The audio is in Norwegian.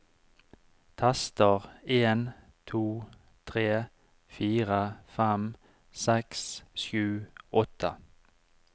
Tester en to tre fire fem seks sju åtte